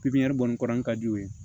Pipiniyɛri bɔlen ka di u ye